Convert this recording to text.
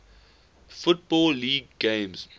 football league games